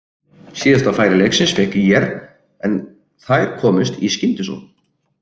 Síðasta færi leiksins fékk ÍR en þær komust í skyndisókn.